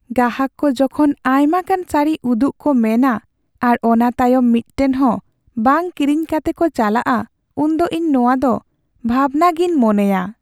ᱜᱟᱦᱟᱠ ᱠᱚ ᱡᱚᱠᱷᱚᱱ ᱟᱭᱢᱟᱜᱟᱱ ᱥᱟᱲᱤ ᱩᱫᱩᱜ ᱠᱚ ᱢᱮᱱᱼᱟ ᱟᱨ ᱚᱱᱟ ᱛᱟᱭᱚᱢ ᱢᱤᱫᱴᱟᱝ ᱦᱚᱸ ᱵᱟᱝ ᱠᱤᱨᱤᱧ ᱠᱟᱛᱮ ᱠᱚ ᱪᱟᱞᱟᱣᱚᱜᱼᱟ, ᱩᱱᱫᱚ ᱤᱧ ᱱᱚᱣᱟᱫᱚ ᱵᱷᱟᱵᱽᱱᱟᱜᱮᱧ ᱢᱚᱱᱮᱭᱟ ᱾